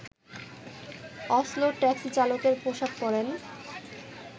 অসলোর taxi চালকের পোষাক পরেন